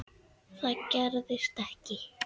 Það gerðist ekki.